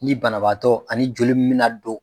Ni banabaatɔ ani joli mun mi na don